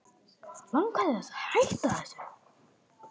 Langar þig til þess að hætta þessu?